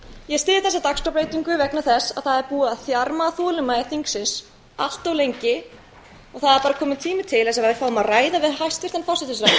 ég styð þessa dagskrárbreytingu vegna þess að það er búið að þjarma að þolinmæði þingsins allt of lengi og það er bara kominn tími til að við fáum að ræða við